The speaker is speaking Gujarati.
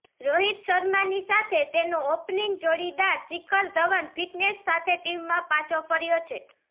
રોહિત શર્માની સાથે તેનો ઓપનિંગ જોડીદાર શિખર ધવન ફિટનેસ સાથે ટીમમાં પાછો ફર્યો છે